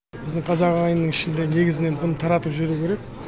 біздің қазақ ағайынның ішінде негізінен бұны таратып жіберу керек